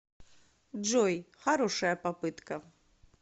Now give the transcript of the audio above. джой хорошая попытка